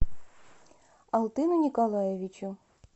алтыну николаевичу